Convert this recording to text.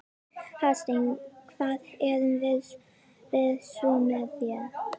Hafsteinn: Hvað erum við svo með hér?